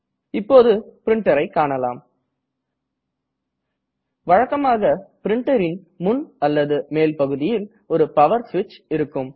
இப்போது printerஐ காண்போம் வழக்கமாக printerன் முன் அல்லது மேல் பகுதியில் ஒரு பவர் ஸ்விட்ச் இருக்கும்